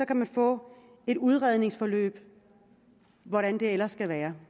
kan man få et udredningsforløb hvordan det ellers skal være